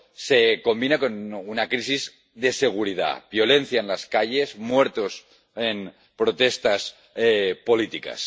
eso se combina con una crisis de seguridad violencia en las calles, muertos en protestas políticas.